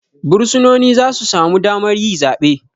Bursunoni zasu samu damar yi zabe